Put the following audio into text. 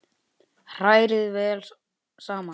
Hrærið vel saman.